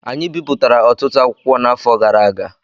Anyị bipụtara ọtụtụ akwụkwọ n'afọ gara aga